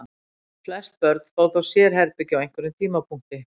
Flest börn fá þó sérherbergi á einhverjum tímapunkti.